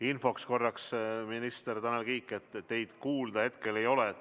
Infoks korraks, minister Tanel Kiik, teid kuulda hetkel ei ole.